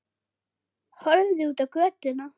Horfði út á götuna.